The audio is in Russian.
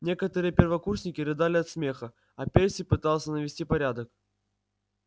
некоторые первокурсники рыдали от смеха а перси пытался навести порядок